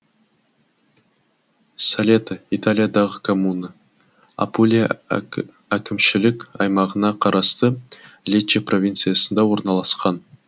солето италиядағы коммуна апулия әкімшілік аймағына қарасты лечче провинциясында орналасқан